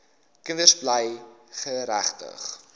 kinders bly geregtig